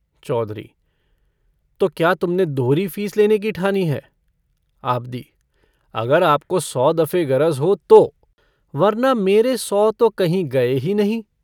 चौधरी - तो क्या तुमने दोहरी फीस लेने की ठानी है? आबदी - अगर आपको सौ दफ़े गरज हो तो। वरना मेरे सौ तो कहीं गए ही नहीं।